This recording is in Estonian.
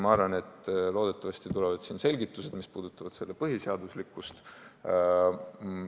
Ma arvan, et loodetavasti saame peagi selgitused, mis puudutavad selle eelnõu põhiseaduslikkust.